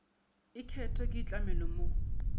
e kete ke itlhamelo mo